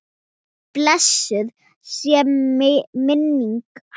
Blessuð sé minning hans!